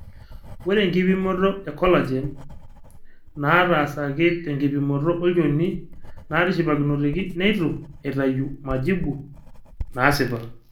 ore enkipimoto e collagen nataasaki tenkipimoto olchoni natishipakinoteki neitu etayu majibu naasipa.